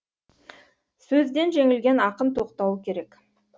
сөзден жеңілген ақын тоқтауы керек